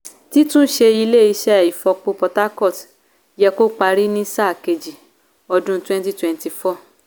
títún ṣe ilé iṣẹ́ ifopo port harcourt yẹ kó parí ní sáà kejì ọdún2024.